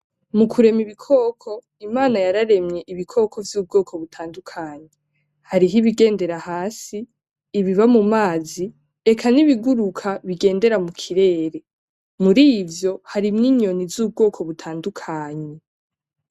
Mu kurema ibikoko, Imana yararemye ibikoko vy'ubwoko butandukanye. Hariho ibigendera hasi, ibiba mu mazi, eka n'ibiguruka bigendera mu kirere. Murivyo harimwo inyoni z'ubwoko butandukanye.